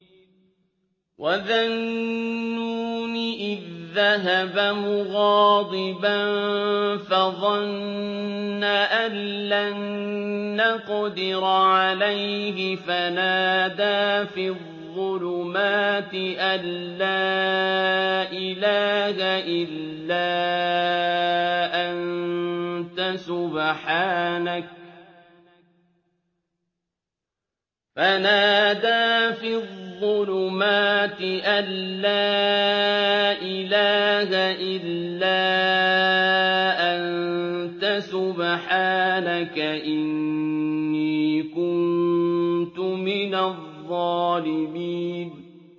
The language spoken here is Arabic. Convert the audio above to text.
وَذَا النُّونِ إِذ ذَّهَبَ مُغَاضِبًا فَظَنَّ أَن لَّن نَّقْدِرَ عَلَيْهِ فَنَادَىٰ فِي الظُّلُمَاتِ أَن لَّا إِلَٰهَ إِلَّا أَنتَ سُبْحَانَكَ إِنِّي كُنتُ مِنَ الظَّالِمِينَ